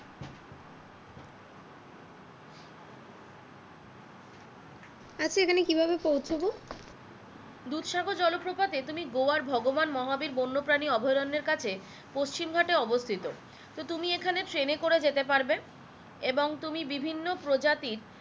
আচ্ছা এখানে কি ভাবে পৌঁছাবো?